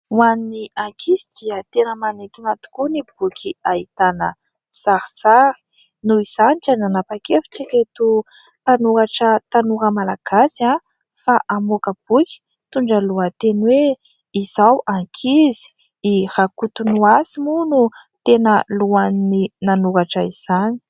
Ho an'ny ankizy dia tena manintona tokoa ny boky ahitana sarisary. Noho izany dia nanapa-kevitra ireto mpanoratra tanora malagasy fa hamoaka boky mitondra ny lohateny hoe " Izaho ankizy". I Rakotonoasy moa no tena lohan'ny nanoratra izany.